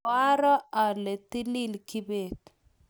koaro ale tilil kibet